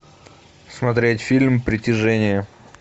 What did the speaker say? смотреть фильм притяжение